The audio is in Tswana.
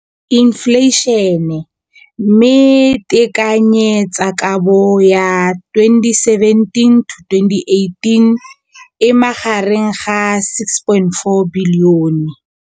Infleišene, mme tekanyetsokabo ya 2017 to 2018 e magareng ga R6.4 bilione.